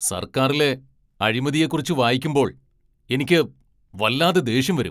സർക്കാരിലെ അഴിമതിയെക്കുറിച്ച് വായിക്കുമ്പോൾ എനിക്ക് വല്ലാതെ ദേഷ്യം വരും.